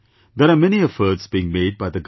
There are many efforts being made by the government